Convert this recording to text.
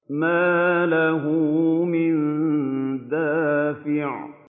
مَّا لَهُ مِن دَافِعٍ